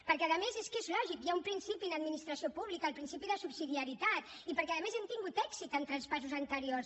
perquè a més és que és lògic hi ha un principi en administració pública el principi de subsidiarietat i perquè a més hem tingut èxit en traspassos anteriors